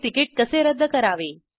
आणि तिकिट कसे रद्द करावे